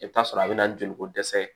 I bɛ t'a sɔrɔ a bɛna joliko dɛsɛ ye